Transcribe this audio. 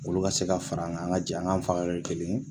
Olu ka se ka fara an kan an ka jɛ an k'an faga kɛ kelen ye